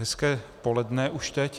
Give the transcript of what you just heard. Hezké poledne už teď.